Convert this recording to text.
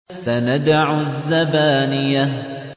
سَنَدْعُ الزَّبَانِيَةَ